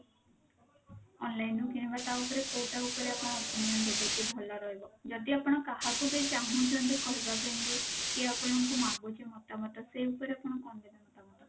online ରୁ କିଣିବା ଟା ଉପରେ କଉଟା ଉପରେ ଆପଣ opinion ଦେବେ କି ଭଲ ରହିବ ଯଦି ଆପଣ କାହାକୁ ବି ଚାହୁଁଛନ୍ତି କହିବା ପାଇଁ କି କି ଆପଣଙ୍କୁ ମାଗୁଛି ମତାମତ ସେ ଉପରେ ଆପଣ କଣ ଦେବେ ମତା ମତ?